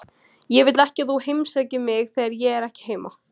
Ég vil ekki að þú heimsækir mig þegar ég er ekki heima.